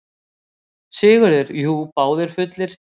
SIGURÐUR: Jú, báðir fullir.